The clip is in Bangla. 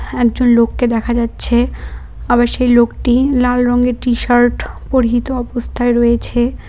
একজন লোককে দেখা যাচ্ছে আবার সেই লোকটি লাল রঙের টিশার্ট পরিহিত অবস্থায় রয়েছে।